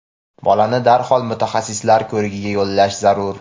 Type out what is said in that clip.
bolani darhol mutaxassislar ko‘rigiga yo‘llash zarur.